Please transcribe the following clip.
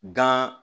Gan